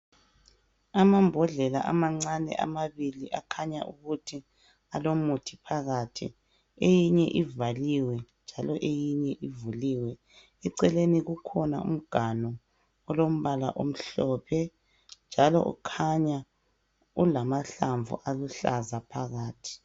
Amambodlela amancane amabili akhanya ukuthi alomuthi phakathi , eyinye ivaliwe njalo eyinye ivaliwe eceleni kulomganu omhlophe njalo ukhanya ulamahlamvu aluhlaza phakathi